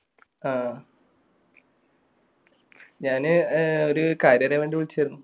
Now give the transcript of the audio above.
ആ ഞാന് ഒരു കാര്യം അറിയാൻ വേണ്ടി വിളിച്ചതായിരുന്നു